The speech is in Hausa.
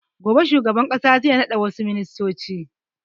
Gobe shugaban ƙasa zai naɗa wassu ministoci